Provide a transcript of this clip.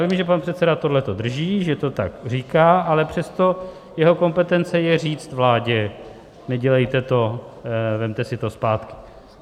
Vím, že pan předseda tohle drží, že to tak říká, ale přesto jeho kompetencí je říct vládě: Nedělejte to, vemte si to zpátky.